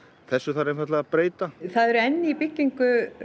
þessu þarf einfaldlega að breyta það eru enn í byggingu